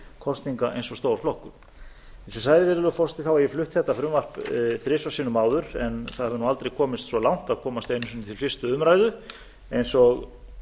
kosninga eins og stór flokkur eins og ég sagði virðulegi forseti hef ég flutt þetta frumvarp þrisvar sinnum áður en það hefur aldrei komist svo langt að komast einu sinni til fyrstu umræðu eins og